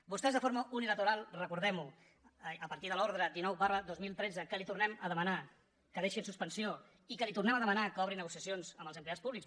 vostès de forma unilateral recordem ho a partir de l’ordre dinou dos mil tretze que li tornem a demanar que deixi en suspensió i que li tornem a demanar que obri negociacions amb els empleats públics